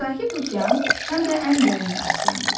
Sakit okean həm də ən dərin okeandır.